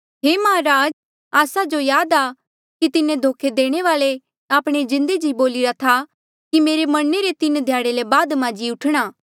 हे माहराज आस्सा जो याद आ कि तिन्हें धोखे देणे वाल्ऐ आपणे जिन्दे जी बोलिरा था कि मेरे मरणे रे तीन ध्याड़े ले बाद मां जी उठणा